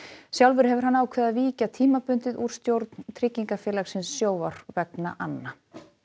sjálfur hefur hann ákveðið að víkja tímabundið úr stjórn tryggingafélagsins Sjóvár vegna anna